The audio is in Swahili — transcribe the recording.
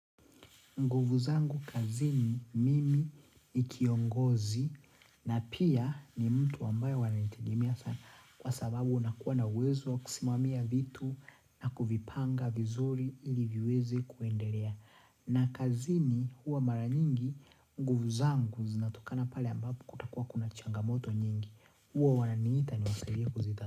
Nguvu zangu kazini mimi ni kiongozi na pia ni mtu ambayo wananitegemea sana kwa sababu nakuwa na uwezo wa kusimamia vitu na kuvipanga vizuri ili viweze kuendelea. Na kazini huwa mara nyingi nguvu zangu zinatokana pale ambapo kutakuwa kuna changamoto nyingi huwa wananiita niwasaidie kuzitatua.